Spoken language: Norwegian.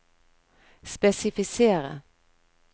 spesifisere